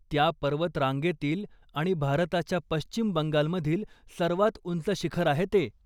त्या पर्वतरांगेतील आणि भारताच्या पश्चिम बंगालमधील सर्वात उंच शिखर आहे ते.